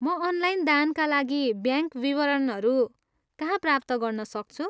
म अनलाइन दानका लागि ब्याङ्क विवरणहरू कहाँ प्राप्त गर्न सक्छु?